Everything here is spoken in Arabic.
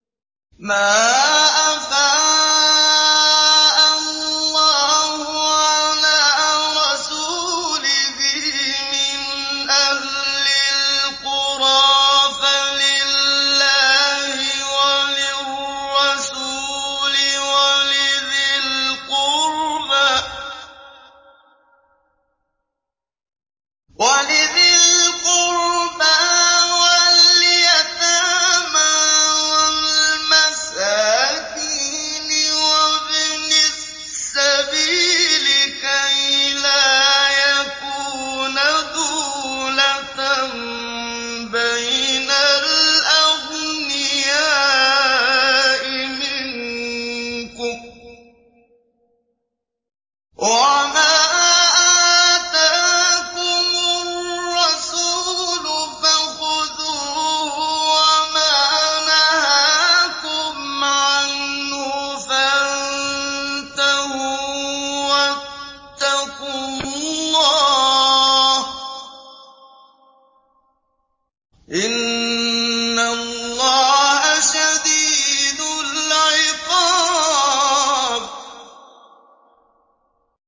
مَّا أَفَاءَ اللَّهُ عَلَىٰ رَسُولِهِ مِنْ أَهْلِ الْقُرَىٰ فَلِلَّهِ وَلِلرَّسُولِ وَلِذِي الْقُرْبَىٰ وَالْيَتَامَىٰ وَالْمَسَاكِينِ وَابْنِ السَّبِيلِ كَيْ لَا يَكُونَ دُولَةً بَيْنَ الْأَغْنِيَاءِ مِنكُمْ ۚ وَمَا آتَاكُمُ الرَّسُولُ فَخُذُوهُ وَمَا نَهَاكُمْ عَنْهُ فَانتَهُوا ۚ وَاتَّقُوا اللَّهَ ۖ إِنَّ اللَّهَ شَدِيدُ الْعِقَابِ